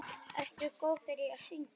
Ertu góður í að syngja?